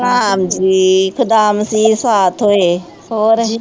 ਹਾਂਜੀ ਸਾਥ ਹੋਏ ਹੋਰ ਜੀ